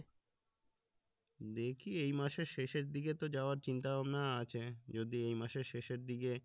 দেখি এইমাসের শেষের দিকে তো যাওয়ার চিন্তা ভাবনা আছে যদি এই মাসের শেষের দিকে